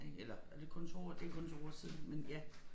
Ik eller er det kun 2 år det kun 2 år siden men ja